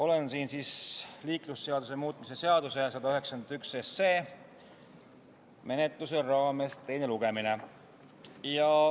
Olen siin liiklusseaduse muutmise seaduse eelnõu 191 menetluse raames, meil on teine lugemine.